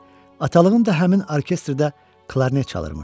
Atalığım da həmin orkestrdə klarnet çalarmış.